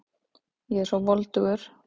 Ég er svo voldugur.